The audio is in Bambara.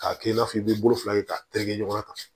K'a kɛ i n'a fɔ i b'i bolo fila kɛ k'a tereke ɲɔgɔnna tan